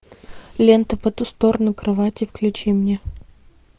лента по ту сторону кровати включи мне